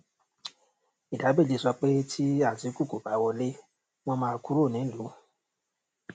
ìdá méje sọ pé tí atiku kò bá wọlé wọn máa kúrò nílùú